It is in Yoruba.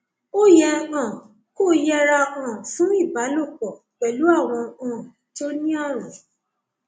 ó yẹ um kó yẹra um fún ìbálòpọ pẹlú àwọn um tó ní ààrùn